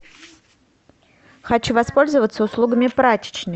хочу воспользоваться услугами прачечной